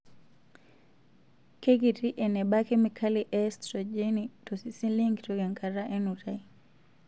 Keikiti eneba kemikali e estrojeni tosesen lenkitok enkata enutai.